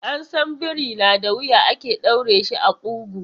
An san biri na da wuya ake ɗaure shi a ƙugu.